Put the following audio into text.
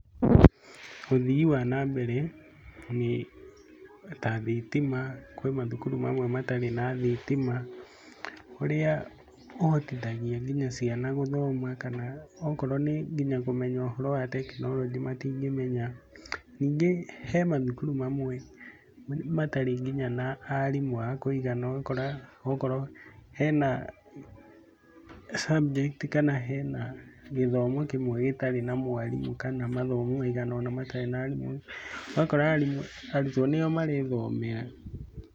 Ũthii wa nambere ta thitima, kwĩ mathukuru mamwe matarĩ na thitima ũrĩa ũhotithagia nginya ciana gũthoma, kana akorwo nĩ kũmenya ũhoro wa tekinoronjĩ matingĩmenya. Ningĩ he mathukuru mamwe matarĩ na nginya na aarimũ a kũigana ũgakora akorwo hena subject kana hena gĩthomo kĩmwe gĩtarĩ na mwarimũ kana mathomo maigana ũna matarĩ na arimũ, ũgakora arutwo nĩo marethomera.